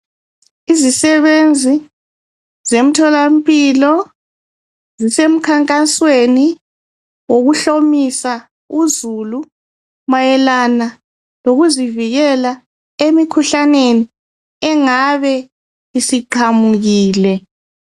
izisebenzi zemtholampilo zisemkhankasweni wokuhlomisa uzulu mayelana lokuzivikela emikhuhlaneni engabe isiqhamukile